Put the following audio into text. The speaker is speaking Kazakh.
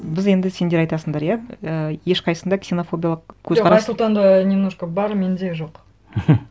біз енді сендер айтасыңдар иә ііі ешқайсында ксенофобиялық көзқарас жоқ айсұлтанда немножко бар менде жоқ